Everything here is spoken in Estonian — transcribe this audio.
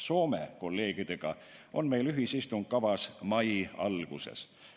Soome kolleegidega on meil ühisistung kavas mai alguses.